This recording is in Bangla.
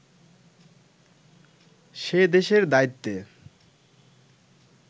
সে দেশের দায়িত্বে